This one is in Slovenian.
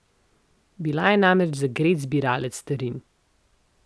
Bil je namreč zagret zbiralec starin.